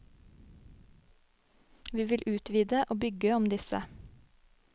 Vi vil utvide og bygge om disse.